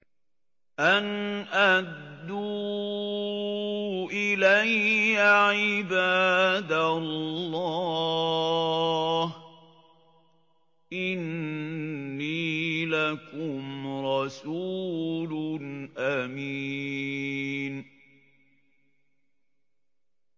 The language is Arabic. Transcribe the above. أَنْ أَدُّوا إِلَيَّ عِبَادَ اللَّهِ ۖ إِنِّي لَكُمْ رَسُولٌ أَمِينٌ